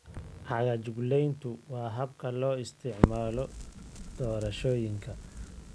Cagajuglayntu waa habka loo isticmaalo doorashooyinka.